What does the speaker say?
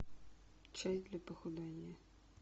чай для похудания